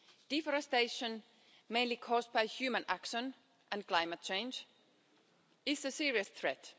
Deforestation, mainly caused by human action and climate change, is a serious threat.